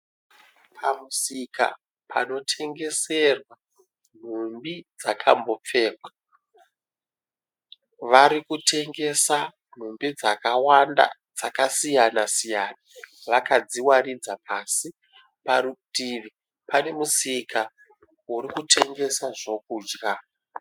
Pamusika panotengeserwa nhumbi dzakambopfekwa, varikutengesa nhumbi dzakawanda dzakasiya siyana vakadziwaridza pasi. Parutivi pane musika urikutengesa zvokudya.